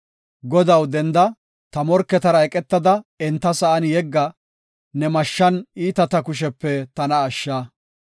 Godaw, denda; ta morketara eqetada enta sa7an yegga; ne mashshan iitata kushepe tana ashsha.